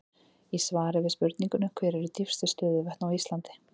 Í svari við spurningunni Hver eru dýpstu stöðuvötn á Íslandi?